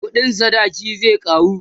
ƙuɗin sadaki zai karu